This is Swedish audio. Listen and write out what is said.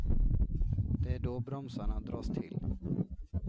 Det är då bromsarna dras till.